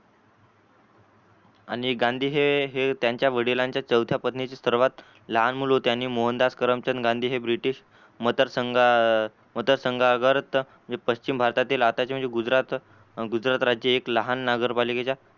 आणि गांधी हे त्यांच्या वडिलांच्या संस्था पत्नीचे सर्वात लहान मूल होते आणि मोहनदास करमचंद गांधी हे british मतदार संघात जे पश्चिम भारतातील आताचे म्हणजे गुजरात राज्य हे लहान नगरपालिकेच्या